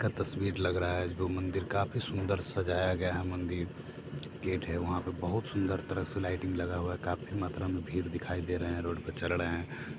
-- का तस्वीर लग रहा है जो मंदिर काफी सुन्दर से सजाया गया है मंदिर गेट है वहां पर बहुत सुंदर तरीके से लाइटिंग लगा हुआ है काफी मात्रा में भीड़ दिखाई दे रहे है रोड पर चल रहे हैं।